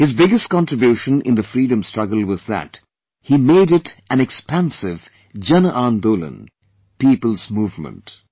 His biggest contribution in the Freedom struggle was that he made it an expansive "JanAandolan" People's Movement